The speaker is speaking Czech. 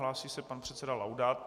Hlásí se pan předseda Laudát.